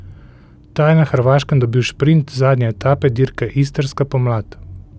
Ta je na Hrvaškem dobil šprint zadnje etape dirke Istrska pomlad.